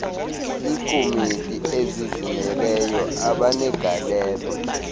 eekomiti ezizimeleyo abenegalelo